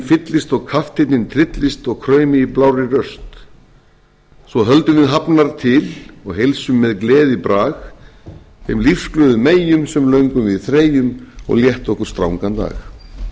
fyllist og kapteinninn tryllist og kraumi í blárri röst svo höldum við hafnar til og heilsum með gleðibrag þeim lífsglöðu meyjum sem löngum við þreyjum og létta okkur strangan dag þetta er